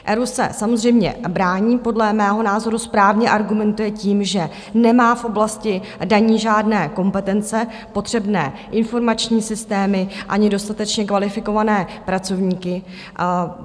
ERÚ se samozřejmě brání, podle mého názoru správně argumentuje tím, že nemá v oblasti daní žádné kompetence, potřebné informační systémy ani dostatečně kvalifikované pracovníky.